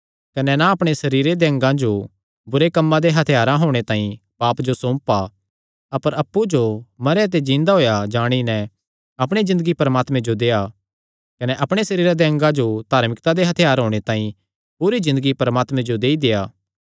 कने ना अपणे सरीरे दे अंगा जो बुरे कम्मां दे हत्थयार होणे तांई पाप जो सौंपा अपर अप्पु जो मरेयां ते जिन्दा होएया जाणी नैं अपणी ज़िन्दगी परमात्मे जो देआ कने अपणे सरीरे दे अंगा जो धार्मिकता दे हत्थयार होणे तांई पूरी ज़िन्दगी परमात्मे जो देई देआ